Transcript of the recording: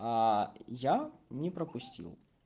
я не пропустил